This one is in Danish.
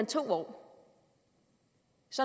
to år